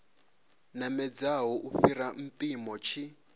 namedzaho u fhira mpimo tshi